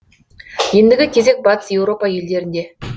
ендігі кезек батыс еуропа елдерінде